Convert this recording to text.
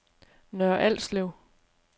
Nørre Alslev